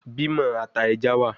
Bimo ata eja wa